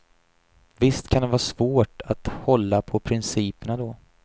Visst kan det vara svårt att hålla på principerna då.